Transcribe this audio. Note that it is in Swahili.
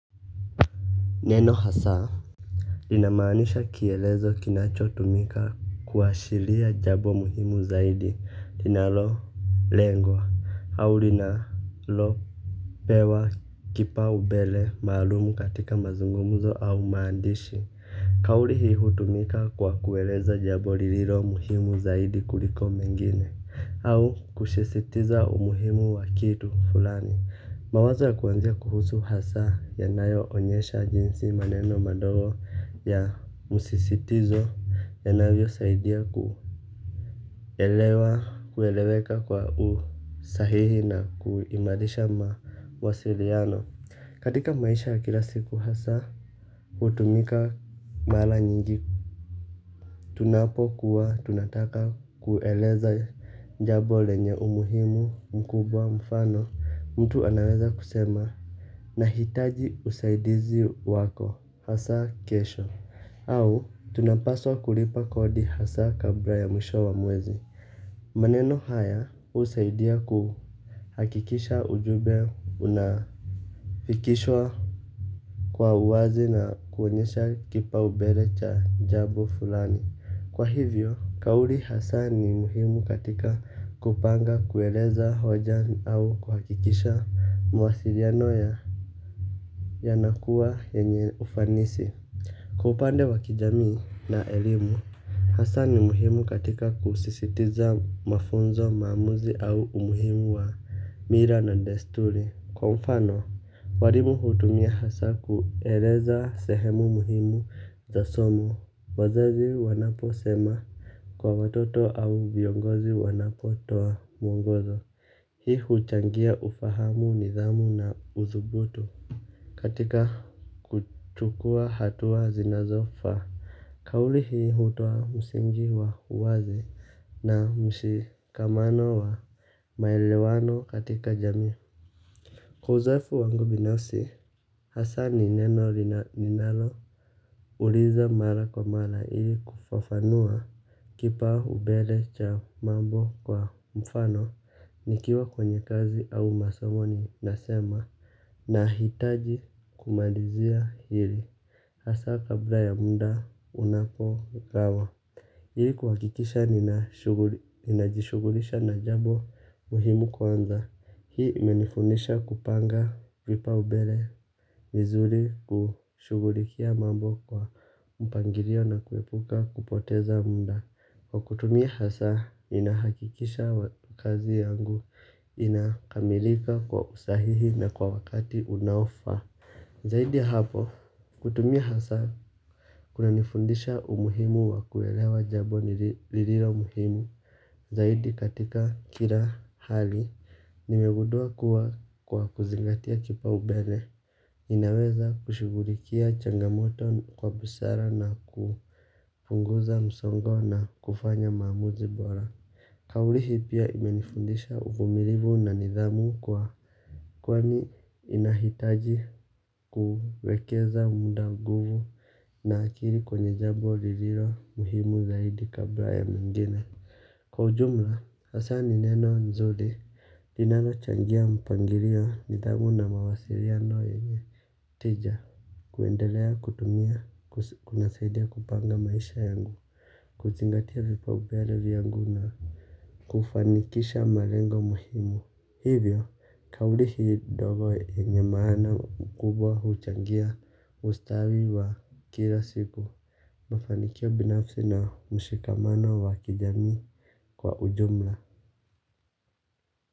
Neno hasaa linamanisha kielezo kinacho tumika kuashilia jabo muhimu zaidi linalo lengwa au linalo pewa kipau bele maalumu katika mazungumuzo au maandishi. Kauli hii hutumika kwa kueleza jambo lililo muhimu zaidi kuliko mengine au kushisitiza umuhimu wa kitu fulani. Mawaza kuanzia kuhusu hasa ya nayo onyesha jinsi maneno madogo ya musisitizo ya navyo saidia kuelewa, kueleweka kwa usahihi na kuimarisha mawasiliano. Katika maisha kila siku hasa, hutumika mala nyingi tunapokuwa tunataka kueleza jambo lenye umuhimu mkubwa mfano. Mtu anaweza kusema nahitaji usaidizi wako hasa kesho. Au tunapaswa kulipa kodi hasa kabla ya mwisho wa mwezi. Manono haya husidia kuhakikisha ujumbe unafikishwa kwa uwazi na kuwenyesha kipu mbele cha jambo fulani. Kwa hivyo, kauli hasa ni muhimu katika kupanga kueleza hoja au kuhakikisha muasili ya yanakuwa yenye ufanisi. Kwa upande wa kijami na elimu hasa ni muhimu katika kusisitiza mafunzo maamuzi au umuhimu wa mila na desturi. Kwa mfano, warimu hutumia hasa kueleza sehemu muhimu za somo. Wazazi wanapo sema kwa watoto au viongozi wanapo toa mwongozo. Hii huchangia ufahamu nidhamu na uzubuto. Katika kuchukua hatua zinazofa, kauli hii hutua msingi wa uwazi na mshikamano wa maelewano katika jami. Kwa uzoefu wangu binafsi hasa ni neno ninalo uliza mara kwa mara hili kufafanua kipa umbele cha mambo kwa mfano nikiwa kwenye kazi au masamoni nasema na hitaji kumalizia hili hasa kabla ya munda unapo gawa. Ili kuhakikisha ninajishugulisha na jambo muhimu kwanza. Hii menifunisha kupanga vipau mbele vizuri kushugulikia mambo kwa mpangirlo na kuepuka kupoteza munda. Kwa kutumia hasa inahakikisha kazi yangu inakamilika kwa usahihi na kwa wakati unaofaa. Zaidi hapo kutumia hasa kuna nifundisha umuhimu wa kuwelewa jabo ni liliilo muhimu. Zaidi katika kila hali nimegundua kuwa kwa kuzingatia kipaumbele inaweza kushugulikia changamoto kwa busara na kupunguza msongo na kufanya maamuzi bora. Kauli hii pia imenifundisha uvumilivu na nidhamu kwani ninahitaji kuwekeza muda, nguvu na akili kwenye jambo lililo muhimu zaidi kabla ya mengine. Kwa ujumla, hasa ni neno nzuri, linalo changia mpangirio nidhamu na mawasiria yenye. Tija, kuendelea, kutumia, kuna saidia kupanga maisha yangu, kuzingatia vipa ubeale viyangu na kufanikisha malengo muhimu. Hivyo, kauli hii dogo yenye maana mkubwa huchangia ustawi wa kila siku. Mafanikyo binafsi na mshikamano wa kijami kwa ujumla.